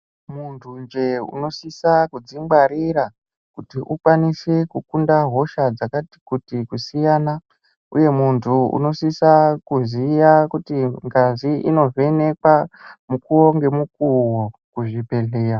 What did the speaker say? Munthunje unosisa kudzingwarira kuti ukwanise kukunda hosha dzakati kuti kusiyana uye munthu unosisa kuziya kuti ngazi inovhenekwa mukuwo ngemukuwo muzvibhedhleya.